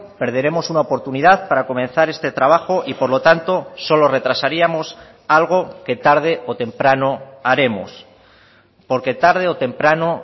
perderemos una oportunidad para comenzar este trabajo y por lo tanto solo retrasaríamos algo que tarde o temprano haremos porque tarde o temprano